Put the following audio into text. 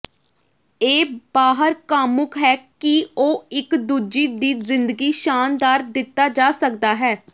ਇਹ ਬਾਹਰ ਕਾਮੁਕ ਹੈ ਕਿ ਉਹ ਇੱਕ ਦੂਜੀ ਦੀ ਜ਼ਿੰਦਗੀ ਸ਼ਾਨਦਾਰ ਦਿੱਤਾ ਜਾ ਸਕਦਾ ਹੈ